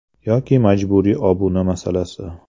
Yoki majburiy obuna masalasi.